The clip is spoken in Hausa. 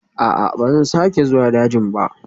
A'a, ba zan sake zuwa dajin ba